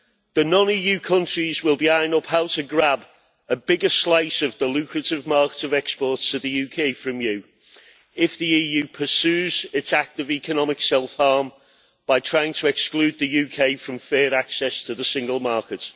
The non EU countries will be eyeing up how to grab a bigger slice of the lucrative market of exports to the UK from you if the EU pursues its active economic self harm by trying to exclude the UK from fair access to the single market.